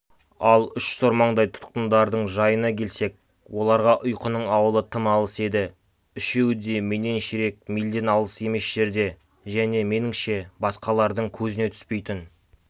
ал үш сормаңдай тұтқындардың жайына келсек оларға ұйқының ауылы тым алыс еді үшеуі де менен ширек мильден алыс емес жерде және меніңше басқалардың көзіне түспейтін